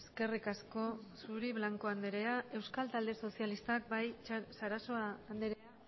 eskerrik asko zuri blanco andrea euskal talde sozialistak bai sarasua andrea